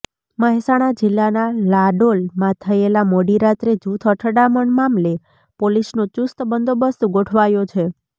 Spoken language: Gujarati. મહેસાણા જિલ્લાના લાડોલમાં થયેલા મોડીરાત્રે જૂથ અથડામણ મામલે પોલીસનો ચુસ્ત બંદોબસ્ત ગોઠવાયો છે